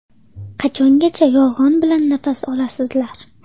Qachongacha yolg‘on bilan nafas olasizlar?